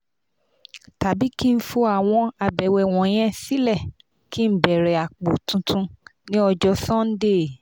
tabi ki n fo awọn abẹwẹ wọnyẹn silẹ ki n bẹrẹ apo tuntun ni ọjọ sundee